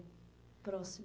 próximo.